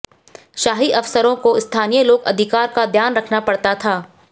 शाही अफसरों को स्थानीय लोक अधिकार का ध्यान रखना पड़ता था